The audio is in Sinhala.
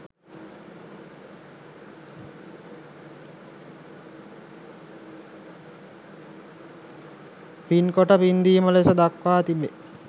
පින්කොට පින්දීම ලෙස දක්වා තිබෙනවා.